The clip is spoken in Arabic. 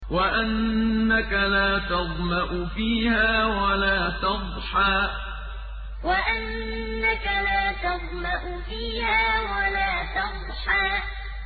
وَأَنَّكَ لَا تَظْمَأُ فِيهَا وَلَا تَضْحَىٰ وَأَنَّكَ لَا تَظْمَأُ فِيهَا وَلَا تَضْحَىٰ